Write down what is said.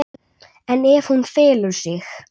En ef hún felur sig?